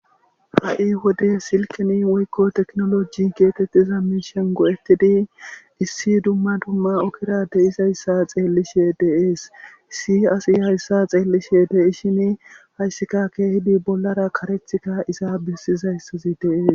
ha7i wode silkini woykko teknoloji geetettiza miishen go7etidi issi dumma tumma okira de7is hayssa xeellishe deees si asi hayssa xeellishe dei shini hayssika keehidi bollara karethka iza bessizayssazi dees